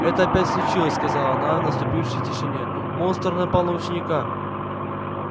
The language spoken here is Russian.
это опять случилось сказала она в наступившей тишине монстр напал на ученика